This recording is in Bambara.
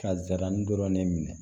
Ka zaramu dɔrɔn ne minɛ